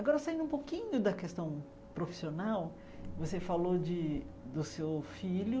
Agora saindo um pouquinho da questão profissional, você falou de do seu filho,